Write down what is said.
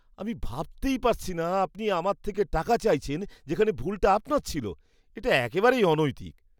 আমি ভাবতেই পারছি না আপনি আমার থেকে টাকা চাইছেন যেখানে ভুলটা আপনার ছিল। এটা একেবারেই অনৈতিক।